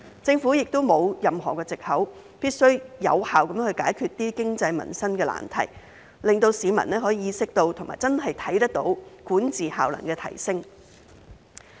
政府亦沒有任何藉口，必須有效地解決經濟民生的難題，令市民可以意識到及真的看到管治效能的提升。